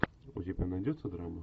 у тебя найдется драма